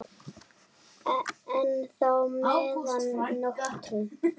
enn þá meðan nóttu